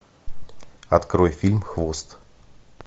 открой фильм хвост